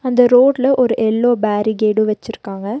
அந்த ரோடுல ஒரு எல்லோ பேரிக்கேடு வெச்சிருக்காங்க.